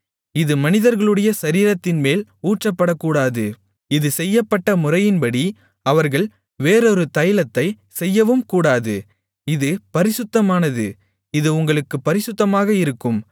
இது மனிதர்களுடைய சரீரத்தின்மேல் ஊற்றப்படக்கூடாது இது செய்யப்பட்ட முறையின்படி அவர்கள் வேறொரு தைலத்தைச் செய்யவும்கூடாது இது பரிசுத்தமானது இது உங்களுக்குப் பரிசுத்தமாக இருக்கும்